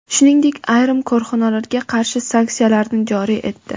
shuningdek ayrim korxonalarga qarshi sanksiyalarni joriy etdi.